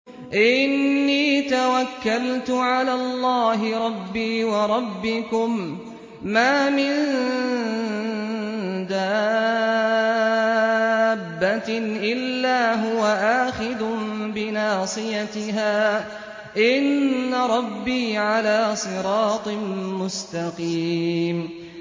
إِنِّي تَوَكَّلْتُ عَلَى اللَّهِ رَبِّي وَرَبِّكُم ۚ مَّا مِن دَابَّةٍ إِلَّا هُوَ آخِذٌ بِنَاصِيَتِهَا ۚ إِنَّ رَبِّي عَلَىٰ صِرَاطٍ مُّسْتَقِيمٍ